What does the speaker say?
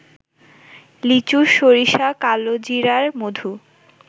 লিচু, সরিষা, কালোজিরার মধু